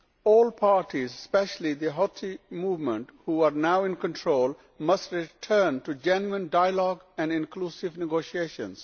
All parties, especially the Houthi movement who are now in control, must return to genuine dialogue and inclusive negotiations.